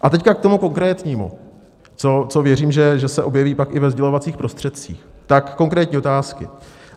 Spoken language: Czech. A teď k tomu konkrétnímu, co věřím, že se objeví pak i ve sdělovacích prostředcích, tak konkrétní otázky.